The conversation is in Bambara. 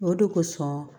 O de kosɔn